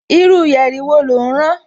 Irú yẹ̀rì wo lò ń rán